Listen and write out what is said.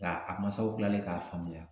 Nga a masaw kilalen k'a faamuya